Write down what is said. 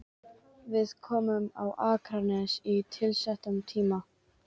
Við komum á Akranes á tilsettum tíma.